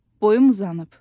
Boyum uzanıb.